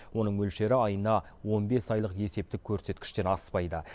оның мөлшері айына он бес айлық есептік көрсеткіштен аспайды